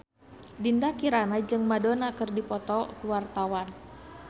Dinda Kirana jeung Madonna keur dipoto ku wartawan